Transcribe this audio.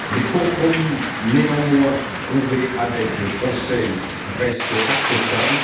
Les compromis néanmoins trouvés avec le Conseil restent acceptables.